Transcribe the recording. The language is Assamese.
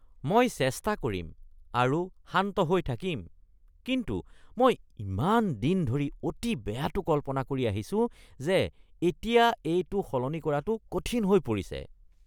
মই চেষ্টা কৰিম আৰু শান্ত হৈ থাকিম কিন্তু মই ইমান দিন ধৰি অতি বেয়াটো কল্পনা কৰি আহিছো যে এতিয়া এইটো সলনি কৰাটো কঠিন হৈ পৰিছে।